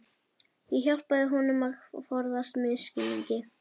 Ég hjálpa honum að forðast misskilning.